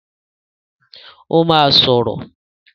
Ó máa sọ̀rọ̀.